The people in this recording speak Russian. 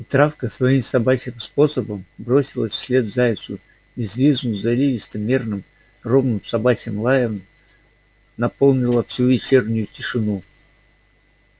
и травка своим собачьим способом бросилась вслед зайцу и взвизгнув заливисто мерным ровным собачьим лаем наполнила всю вечернюю тишину